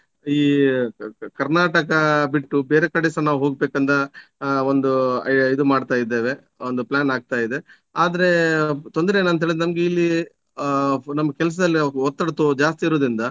ಈ ಕರ್ನಾಟಕ ಬಿಟ್ಟು ಬೇರೆ ಕಡೆಸ ನಾವು ಹೋಗಬೇಕಂತ ಆ ಒಂದು ಇದು ಮಾಡ್ತಾ ಇದ್ದೇವೆ ಒಂದು plan ಆಗ್ತಾ ಇದೆ ಆದ್ರೆ ತೊಂದ್ರೆ ಏನಂತ ಹೇಳಿದ್ರೆ ನಮ್ಗೆ ಇಲ್ಲಿ ಆ ನಮ್ಮ್ ಕೆಲಸದಲ್ಲಿ ನಾವು ಒತ್ತಡ ತೋ~ ಜಾಸ್ತಿ ಇರುವುದರಿಂದ